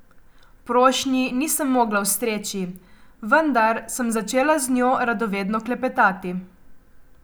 Prošnji nisem mogla ustreči, vendar sem začela z njo radovedno klepetati.